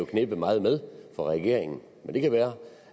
jo knebet meget med for regeringen men det kan være